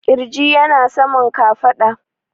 ƙirji yana saman kafaɗa